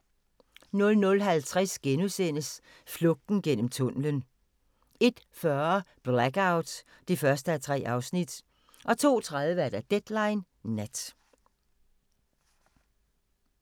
00:50: Flugten gennem tunnelen * 01:40: Blackout (1:3) 02:30: Deadline Nat